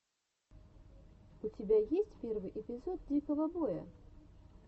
у тебя есть первый эпизод дикого боя